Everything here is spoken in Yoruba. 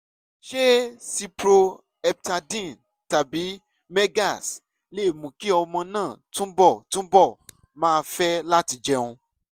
ṣé cyproheptadine tàbí megace lè mú kí ọmọ náà túbọ̀ túbọ̀ máa fẹ́ láti jẹun?